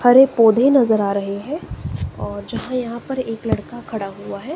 हरे पौधे नजर आ रहे हैं और जहां यहां पर एक लड़का खड़ा हुआ है।